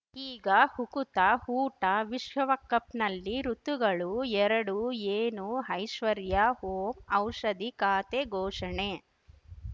ಈಗ ಹುಕುತ ಹೂಟ ವಿಶ್ವವಕಪ್‌ನಲ್ಲಿ ಋತುಗಳು ಎರಡು ಏನು ಹೈಶ್ವರ್ಯಾ ಹೋಮ್ ಔಷಧಿ ಖಾತೆ ಘೋಷಣೆ